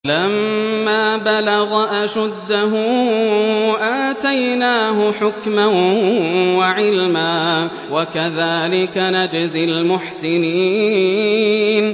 وَلَمَّا بَلَغَ أَشُدَّهُ آتَيْنَاهُ حُكْمًا وَعِلْمًا ۚ وَكَذَٰلِكَ نَجْزِي الْمُحْسِنِينَ